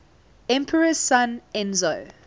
emperor's son enzo